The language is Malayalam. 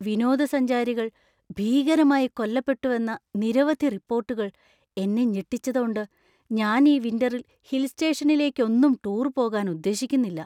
വിനോദസഞ്ചാരികൾ ഭീകരമായി കൊല്ലപ്പെട്ടുവെന്ന നിരവധി റിപ്പോർട്ടുകൾ എന്നെ ഞെട്ടിച്ചതോണ്ട് ഞാൻ ഈ വിൻ്ററിൽ ഹിൽ സ്റ്റേഷനിലേക്കൊന്നും ടൂർ പോകാൻ ഉദ്ദേശിക്കുന്നില്ല .